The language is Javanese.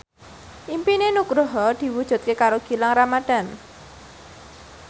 impine Nugroho diwujudke karo Gilang Ramadan